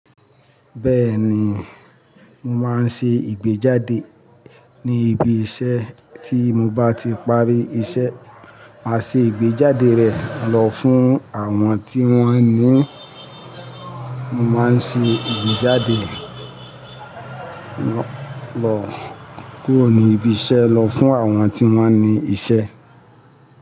Bẹ́ẹ̀ni, mo máa ń ṣe ìgbéjáde ní ibi iṣẹ́ tí mo bá ti parí iṣẹ́, màá ṣe ìgbéjáde rẹ̀ lọ fún àwọn tí wón ní Mo máa ń ṣe ìgbéjáde lọ kúrò ní ibi iṣẹ́ lọ fún àwọn tí wón ní iṣẹ́